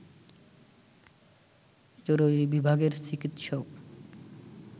জরুরি বিভাগের চিকিৎসক